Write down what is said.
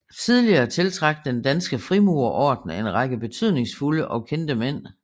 Tidligere tiltrak Den Danske Frimurerorden en række betydningsfulde og kendte mænd